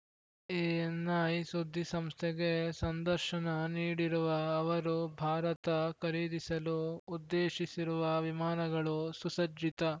ANI ಸುದ್ದಿಸಂಸ್ಥೆಗೆ ಸಂದರ್ಶನ ನೀಡಿರುವ ಅವರು ಭಾರತ ಖರೀದಿಸಲು ಉದ್ದೇಶಿಸಿರುವ ವಿಮಾನಗಳು ಸುಸಜ್ಜಿತ